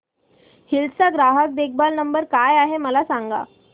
hills चा ग्राहक देखभाल नंबर काय आहे मला सांग